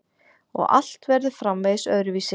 Að allt verður framvegis öðruvísi.